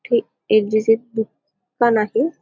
हे एक जेसे दुकान आहे.